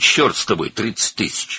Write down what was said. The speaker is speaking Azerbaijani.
Cəhənnəmə ki, 30.000.